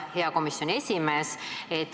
Hea komisjoni esimees!